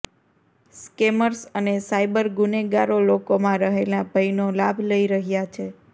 scammers અને cyber ગુનેગારો લોકોમાં રહેલા ભયનો લાભ લઈ રહ્યા છે